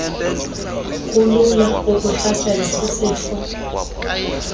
kulula ukuhlaselwa sisifo